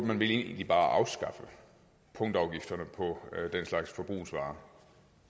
man vel egentlig bare afskaffe punktafgifterne på den slags forbrugsvarer